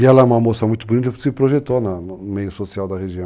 E ela é uma moça muito bonita, se projetou no meio social da região.